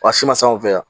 Wa si ma s'anw fɛ yan